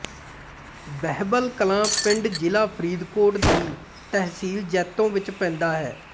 ਬਹਿਬਲ ਕਲਾਂ ਪਿੰਡ ਜ਼ਿਲਾ ਫਰੀਦਕੋਟ ਦੀ ਤਹਿਸੀਲ ਜੈਤੋ ਵਿਚ ਪੈਂਦਾ ਹੈ